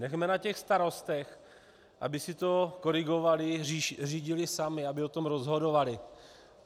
Nechme na těch starostech, aby si to korigovali, řídili sami, aby o tom rozhodovali.